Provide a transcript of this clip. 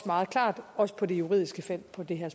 meget klart også på det juridiske felt på det her